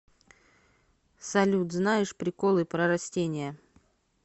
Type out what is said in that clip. салют знаешь приколы про растения